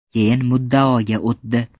Keyin muddaoga o‘tdi.